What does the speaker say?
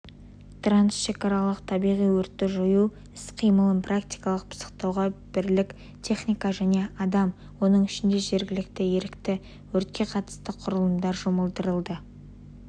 трансшекаралық табиғи өртті жою іс-қимылын практикалық пысықтауға бірлік техника және адам оның ішінде жергілікті ерікті өртке қарсы құралымдар жұмылдырылды